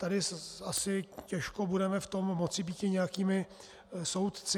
Tady asi těžko budeme v tom moci býti nějakými soudci.